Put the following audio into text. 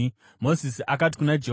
Mozisi akati kuna Jehovha,